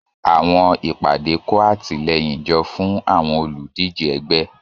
Àwọn ìpàdé kó àtìlẹ́yìn jọ fún àwọn olùdíje ẹgbẹ́.